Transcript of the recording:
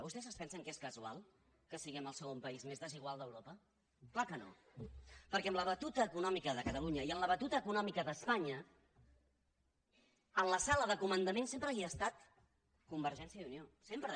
vostès es pensen que és casual que siguem el segon país més desigual d’europa clar que no perquè amb la batuta econòmica de catalunya i amb la batuta econòmica d’espanya en la sala de comandament sempre ha estat convergència i unió sempre